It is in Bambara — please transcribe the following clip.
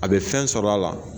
A be fɛn sɔrɔ a la.